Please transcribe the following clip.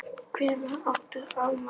Hvenær átt þú afmæli?